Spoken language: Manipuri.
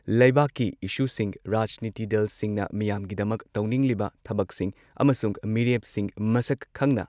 ꯂꯩꯕꯥꯛꯀꯤ ꯢꯁꯨꯁꯤꯡ ꯔꯥꯖꯅꯤꯇꯤ ꯗꯜꯁꯤꯡꯅ ꯃꯤꯌꯥꯝꯒꯤꯗꯃꯛ ꯇꯧꯅꯤꯡꯂꯤꯕ ꯊꯕꯛꯁꯤꯡ ꯑꯃꯁꯨꯡ ꯃꯤꯔꯦꯞꯁꯤꯡ ꯃꯁꯛ ꯈꯪꯅ